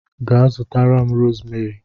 Ga zutara m rosmeri!